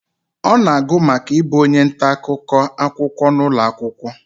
ọ na-agụ maka ibu onye nta-akụkọ akwụkwọ n'ụlọ akwụkwọ